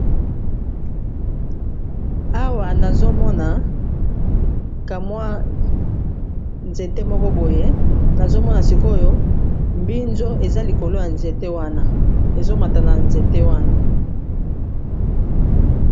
Awa nazomona ka mwa nzete moko boye nazomona sikoyo mbinzo eza likolo ya nzete wana ezo mata na nzete wana.